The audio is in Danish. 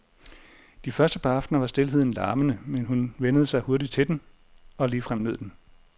De første par aftener var stilheden larmende, men hun vænnede mig hurtigt til den, og ligefrem nød den.